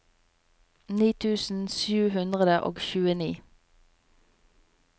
ni tusen sju hundre og tjueni